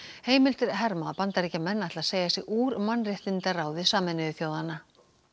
heimildir herma að Bandaríkjamenn ætli að segja sig úr mannréttindaráði Sameinuðu þjóðanna